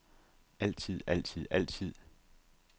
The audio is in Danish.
altid altid altid